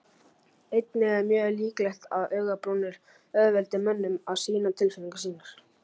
Einnig er mjög líklegt að augabrúnir auðveldi mönnum að sýna tilfinningar sínar.